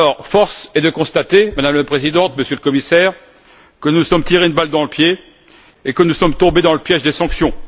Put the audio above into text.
Force est de constater, Madame la Présidente, Monsieur le Commissaire, que nous nous sommes tiré une balle dans le pied et que nous sommes tombés dans le piège des sanctions.